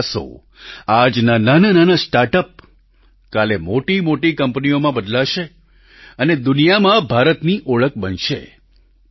આપના પ્રયાસો આજના નાનાનાના સ્ટાર્ટઅપ કાલે મોટીમોટી કંપનીઓમાં બદલાશે અને દુનિયામાં ભારતની ઓળખ બનશે